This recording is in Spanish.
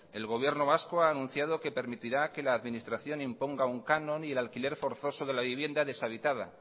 el gobierno vasco ha anunciado que permitirá que la administración imponga un canon y el alquiler forzoso de la vivienda deshabitada